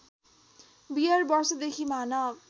beer वर्षदेखि मानव